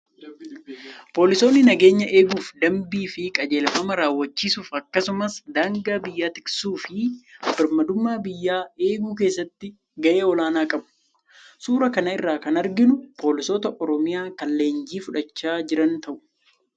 Poolisoonni nageenya eeguuf, dambii fi qajeelfama raawwachiisuuf akkasumas daangaa biyyaa tiksuu fi birmadummaa biyyaa eeguu keessatti gahee olaanaa qabu. Suuraa kana irraa kan arginu poolisoota Oromiyaa kan leenjii fudhachaa jiran ta'u.